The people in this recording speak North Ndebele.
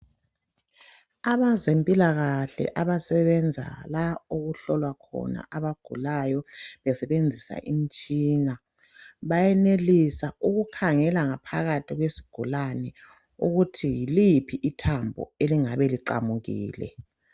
Abezempilakahle abasebenza lapho okuhlolwa khona abagulayo besebenzisa imitshina bayenelisa ukukhangela phakathi kwesigulane ukuthi yiliphi ithambo elingabe liqamukile.